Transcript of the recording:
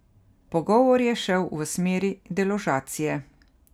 Pogovor je šel v smeri deložacije.